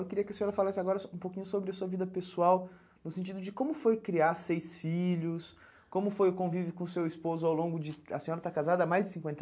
Eu queria que a senhora falasse agora sobre um pouquinho sobre a sua vida pessoal, no sentido de como foi criar seis filhos, como foi o convívio com o seu esposo ao longo de... A senhora está casada há mais de cinquenta